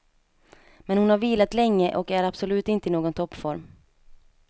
Men hon har vilat länge och är absolut inte i någon toppform.